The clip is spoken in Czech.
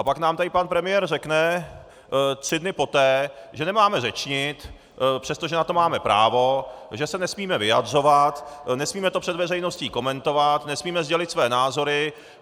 A pak nám tady pan premiér řekne tři dny poté, že nemáme řečnit, přestože na to máme právo, že se nesmíme vyjadřovat, nesmíme to před veřejností komentovat, nesmíme sdělit svoje názory.